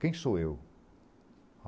Quem sou eu?